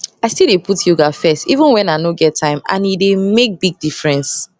i still dey put yoga first even wen i nor get time and e dey make big difference